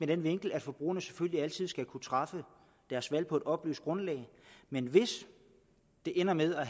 den vinkel at forbrugerne selvfølgelig altid skal kunne træffe deres valg på et oplyst grundlag men hvis det ender med at